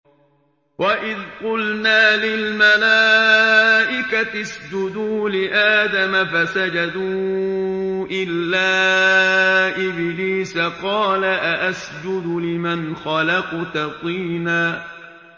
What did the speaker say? وَإِذْ قُلْنَا لِلْمَلَائِكَةِ اسْجُدُوا لِآدَمَ فَسَجَدُوا إِلَّا إِبْلِيسَ قَالَ أَأَسْجُدُ لِمَنْ خَلَقْتَ طِينًا